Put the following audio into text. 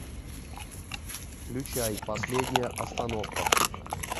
включай последняя остановка